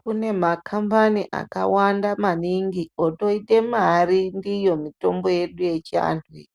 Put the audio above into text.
Kune makambani akawanda maingi otoite mari ndiyo mitombo yedu yechiantu iyi.